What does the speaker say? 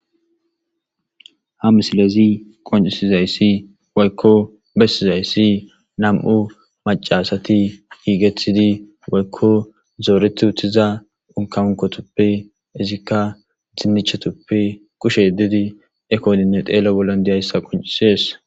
Ha misilezi qoncisizayssi woykko bessizayssi nam7u macasati giigetidi woykko zooreti uttiza unkankotoppe izikka dimnichetuppe kushe ddidi ekodinne xeelo bollon deyayssa qoncisees.